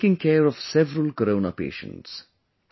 She is taking care of several Corona patients